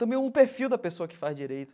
Também o perfil da pessoa que faz direito.